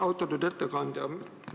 Austatud ettekandja!